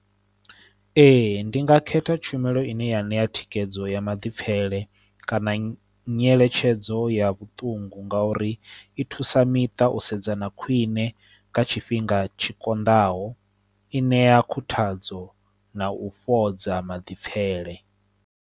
Ee ndi nga khetha tshumelo ine ya ṋea thikhedzo ya maḓipfele kana nyeletshedzo ya vhuṱungu ngauri i thusa miṱa u sedzana khwiṋe nga tshifhinga tshi konḓaho i ṋea khuthadzo na u fhodza maḓipfele.